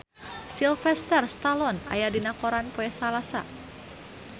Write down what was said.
Sylvester Stallone aya dina koran poe Salasa